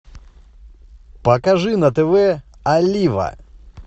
покажи на тв олива